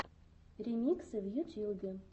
ремиксы в ютьюбе